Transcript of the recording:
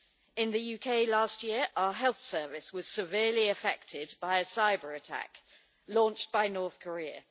In the UK last year our health service was severely affected by a cyber-attack launched by North Korea.